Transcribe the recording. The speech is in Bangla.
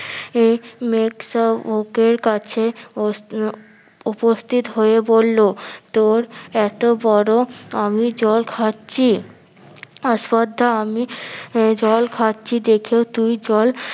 এ মেগ যায় ওকে কাছে উপস্থিত হয়ে বললো তোর এত্ বড় আমি জল খাচ্ছি আস্পর্ধা আমি জল খাচ্ছি দেখেও তুই জল